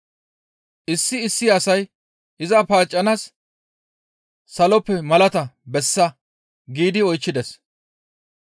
Issi issi asay iza paaccanaas, «Saloppe malata bessa» giidi oychchides.